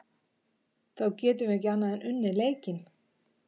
þá getum við ekki annað en unnið leikinn